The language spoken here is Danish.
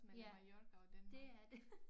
Ja det er det